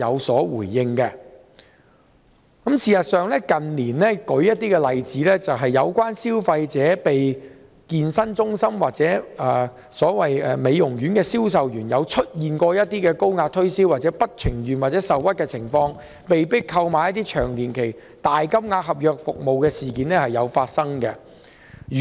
事實上，近年有些例子是消費者遭健身中心或美容院的銷售員高壓推銷，而消費者在不情願或受屈的情況下，被迫購買一些年期長、金額大的合約服務的事件亦時有發生。